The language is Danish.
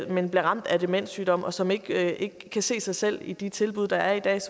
men bliver ramt af demenssygdomme og som ikke kan se sig selv i de tilbud der i dag er